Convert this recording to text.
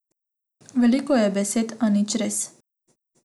Veliko je besed, a nič res.